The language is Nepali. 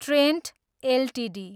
Trent Ltd